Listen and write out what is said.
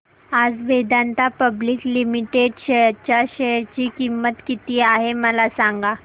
आज Vedanta public limited च्या share ची किंमत किती आहे मला सांगा